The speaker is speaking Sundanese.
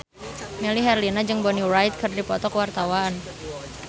Melly Herlina jeung Bonnie Wright keur dipoto ku wartawan